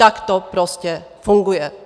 Tak to prostě funguje.